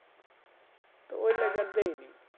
তো এই লেগে